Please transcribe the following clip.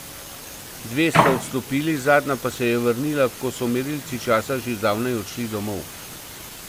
Dve sta odstopili, zadnja pa se je vrnila, ko so merilci časa že zdavnaj odšli domov.